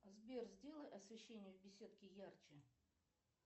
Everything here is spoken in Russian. сбер сделай освещение в беседке ярче